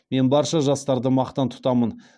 мен барша жастарды мақтан тұтамын